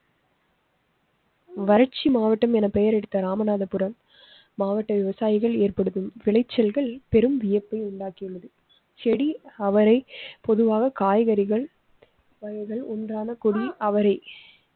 வரட்சி மாவட்டம் என பெயர் எடுத்த ராமநாதபுரம் மாவட்ட விவசாயிகள் ஏற்படுத்தும் விளைச்சல்கள் பெரும் வியப்பை உண்டாக்கியது. செடி அவரை பொதுவாக காய்கறிகள் உண்டான கொடி அவரை.